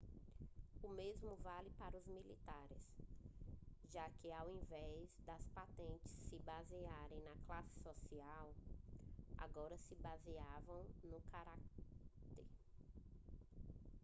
o mesmo vale para os militares já que ao invés das patentes se basearem na classe social agora se baseavam no caráter